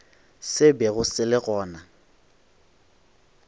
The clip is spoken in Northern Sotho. se bego se le gona